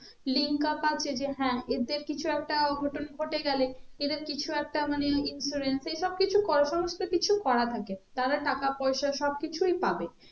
link up আছে যে হ্যাঁ এদের কিছু একটা ঘটে গেলে এদের কিছু একটা মানে influence এই সব কিছু কিছু করা থাকে তারা টাকা পয়সা সব কিছুই পাবে